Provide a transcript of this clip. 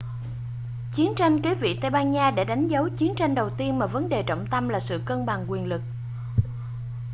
chiến tranh kế vị tây ban nha đã đánh dấu chiến tranh đầu tiên mà vấn đề trọng tâm là sự cân bằng quyền lực